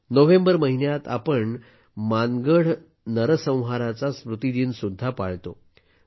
November महिन्यात आपण मानगढ नरसंहाराचा स्मृतिदिन सुद्धा पाळतो